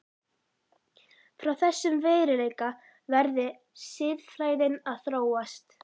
Frá þessum veruleika verði siðfræðin að þróast.